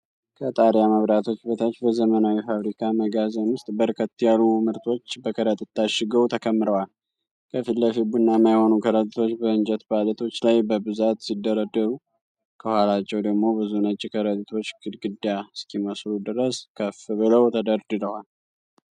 ከጣሪያ መብራቶች በታች በዘመናዊ ፋብሪካ መጋዘን ውስጥ በርከት ያሉ ምርቶች በከረጢት ታሽገው ተከምረዋል። ከፊት ለፊት ቡናማ የሆኑ ከረጢቶች በእንጨት ፓሌቶች ላይ በብዛት ሲደረደሩ፣ ከኋላቸው ደግሞ ብዙ ነጭ ከረጢቶች ግድግዳ እስኪመስሉ ድረስ ከፍ ብለው ተደርድረዋል።